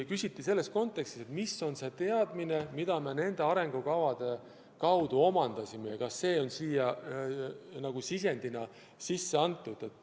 Küsiti selles kontekstis, millised on teadmised, mis me tänu nendele arengukavadele oleme omandanud, ja kas need on sellesse dokumenti sisendina sisse saanud.